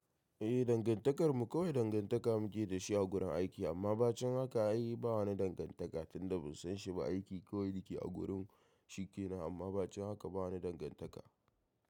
Eh, dangantakarmu kawai dangantaka muke da shi a gurin aiki amma ba cikin haka ayi. Ba wani dangantaka tunda ban san shi ba aiki kawai na ke a gurin shike nan amma ba cikin haka ba wani dangantaka.